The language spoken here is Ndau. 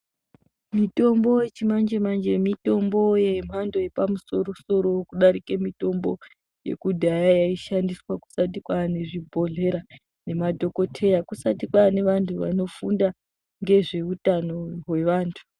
Mitombo yechimanje-manje mitombo yemhando yepamusoro-soro kudarike mitombo yekudhaya, yaishandiswa kusati kwane zvibhedhlera nemadhokoteya, kusati kwane vantu vanofunda ngezveutano hwevantu.